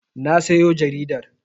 Na sayo jaridar.